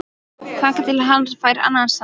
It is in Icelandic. Þangað til hann fær annan samastað